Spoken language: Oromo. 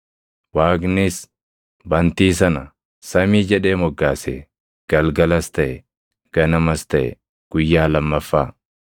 Waaqnis bantii sana “samii” jedhee moggaase. Galgalas taʼe; ganamas taʼe; guyyaa lammaffaa.